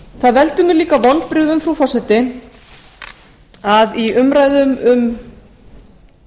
það veldur mér líka vonbrigðum frú forseti að í umræðum um